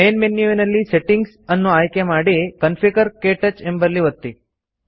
main ಮೆನ್ಯುವಿನಲ್ಲಿ settings ಅನ್ನು ಆಯ್ಕೆ ಮಾಡಿ ಕಾನ್ಫಿಗರ್ ಕ್ಟಚ್ ಎಂಬಲ್ಲಿ ಒತ್ತಿ